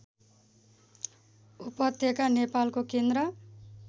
उपत्यका नेपालको केन्द्र